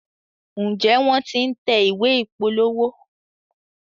Njé wón t'in tẹ̀ ìwé ìpolówó?